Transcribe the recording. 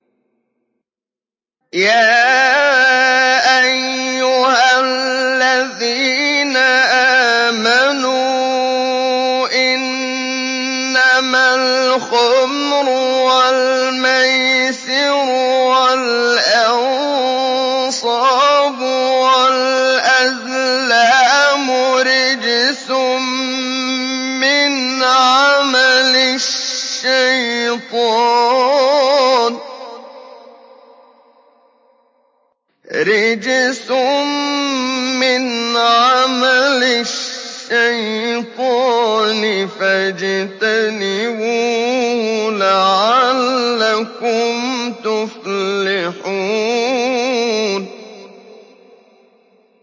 يَا أَيُّهَا الَّذِينَ آمَنُوا إِنَّمَا الْخَمْرُ وَالْمَيْسِرُ وَالْأَنصَابُ وَالْأَزْلَامُ رِجْسٌ مِّنْ عَمَلِ الشَّيْطَانِ فَاجْتَنِبُوهُ لَعَلَّكُمْ تُفْلِحُونَ